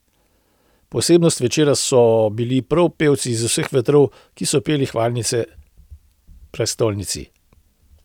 Posebnost večera so bili prav pevci iz vseh vetrov, ki so peli hvalnice prestolnici.